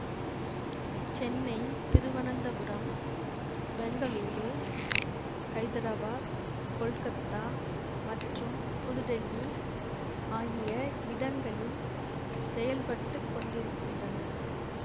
சென்னை திருவனந்தபுரம் பெங்களூரு ஹைதராபாத் கொல்கத்தா மற்றும் புதுடெல்லி ஆகிய இடங்களில் செயல்பட்டு கொண்டிருக்கின்றன